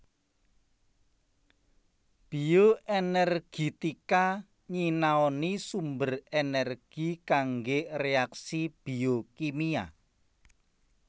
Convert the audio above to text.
Bioenergitika nyinaoni sumber energi kangge reaksi biokimia